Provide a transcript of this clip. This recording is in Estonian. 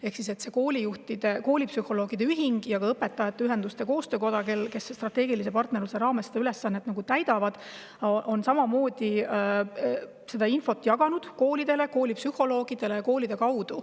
Eesti Koolipsühholoogide Ühing ja ka Õpetajate Ühenduste Koostöökoda, kes strateegilise partnerluse raames seda ülesannet täidavad, on samamoodi seda infot jaganud koolidele, koolipsühholoogidele ja koolide kaudu.